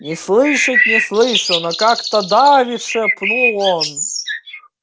не слышать не слышу но как-то давит шепнул он